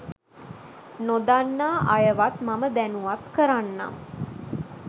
නොදන්නා අයවත් මම දැනුවත් කරන්නම්